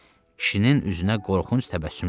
Kişinin üzünə qorxunc təbəssüm yayıldı.